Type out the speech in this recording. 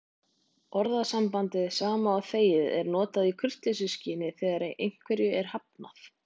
Orðasambandið sama og þegið er notað í kurteisisskyni þegar einhverju er hafnað.